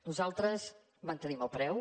nosaltres en mantenim el preu